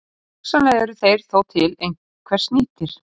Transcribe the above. Hugsanlega eru þeir þó til einhvers nýtir.